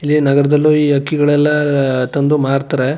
ಇಲ್ಲಿ ನಗರದಲ್ಲು ಈ ಹಕ್ಕಿಗಳೆಲ್ಲಾ ತಂದು ಮಾರತ್ತರೆ.